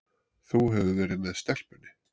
Þú hefur verið með stelpunni.